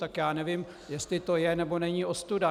Tak já nevím, jestli to je, nebo není ostuda.